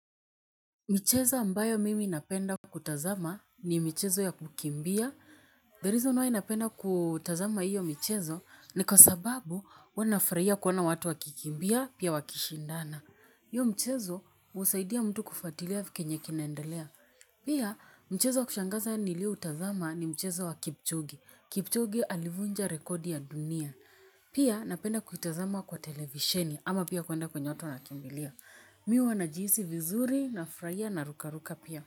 Michezo ambayo mimi napenda kutazama ni michezo ya kukimbia. The reason why napenda kutazama hiyo michezo ni kwa sababu huwa nafuhia kuona watu wakikimbia pia wakishindana. Hiyoo michezo husaidia mtu kufatilia kenye kinaendelea. Pia, michezo wa kushangaza nilioutazama ni michezo wa kipchugi. Kipchoge alivunja rekodi ya dunia. Pia, napenda kutazama kwa televisheni ama pia kwenda kwenye watu wanakimbilia. Mi huwa najihusi vizuri nafurahia narukaruka pia.